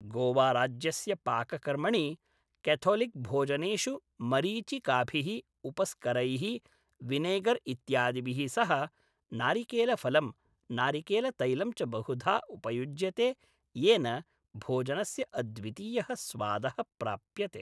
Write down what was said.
गोवाराज्यस्य पाककर्मणि कैथोलिक्भोजनेषु मरीचिकाभिः, उपस्करैः, विनेगर् इत्यादीभिः सह नारिकेलफलं, नारिकेलतैलं च बहुधा उपयुज्यते येन भोजनस्य अद्वितीयः स्वादः प्राप्यते।